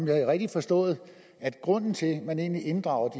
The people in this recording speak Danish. er rigtigt forstået at grunden til at man inddrager